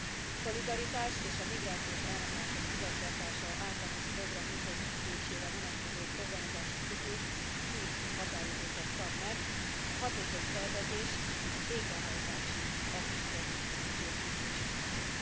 A Szolidaritás és a migrációs áramlások igazgatása általános program működésére vonatkozó programozási ciklus szűk határidőket szab meg, a hatékony tervezés a végrehajtási aktusok mentén biztosítható.